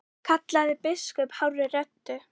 kallaði biskup hárri röddu.